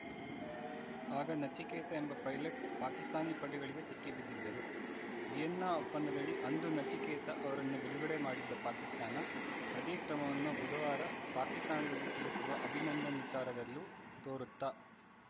ಆಗ ನಚಿಕೇತ ಎಂಬ ಪೈಲಟ್‌ ಪಾಕಿಸ್ತಾನಿ ಪಡೆಗಳಿಗೆ ಸಿಕ್ಕಿಬಿದ್ದಿದ್ದರು ವಿಯೆನ್ನಾ ಒಪ್ಪಂದದಡಿ ಅಂದು ನಚಿಕೇತ ಅವರನ್ನು ಬಿಡುಗಡೆ ಮಾಡಿದ್ದ ಪಾಕಿಸ್ತಾನ ಅದೇ ಕ್ರಮವನ್ನು ಬುಧವಾರ ಪಾಕಿಸ್ತಾನದಲ್ಲಿ ಸಿಲುಕಿರುವ ಅಭಿನಂದನ್‌ ವಿಚಾರದಲ್ಲೂ ತೋರುತ್ತಾ